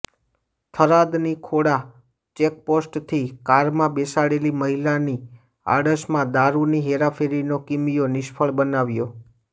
થરાદની ખોડા ચેકપોસ્ટેથી કારમાં બેસાડેલી મહિલાની આડશમાં દારૂની હેરાફેરીનો કિમીયો નિષ્ફળ બનાવ્યો